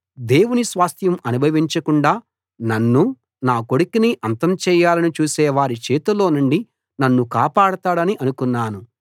దేవుని స్వాస్థ్యం అనుభవించకుండా నన్నూ నా కొడుకునీ అంతం చేయాలని చూసేవారి చేతిలో నుండి నన్ను కాపాడతాడని అనుకొన్నాను